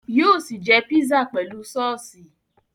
Yóò sì jẹ pizza pẹ̀lú sọ́ọ́sì